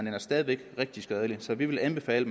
er stadig væk rigtig skadeligt så vi vil anbefale